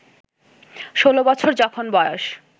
ষোলো বছর যখন বয়স